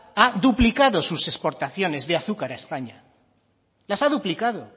ha duplicado sus exportaciones de azúcar a españa las ha duplicado